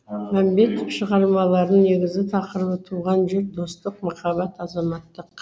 мәмбетов шығармаларының негізгі тақырыбы туған жер достық махаббат азаматтық